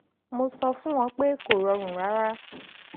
mo sọ fún wọn pé kò rọrùn rárá